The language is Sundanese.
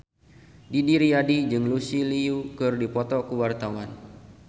Didi Riyadi jeung Lucy Liu keur dipoto ku wartawan